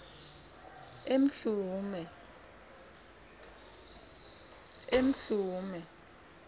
emhlume